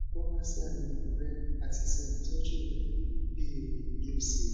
o ma se ayewo re ati se itoju re bi re bi o se ye